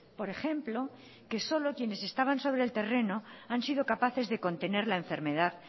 por ejemplo que solo quienes estaban sobre el terreno han sido capaces de contener la enfermedad